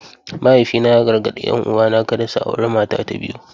Mahaifina ya gargadi 'yan uwana kada su auri mata ta biyu.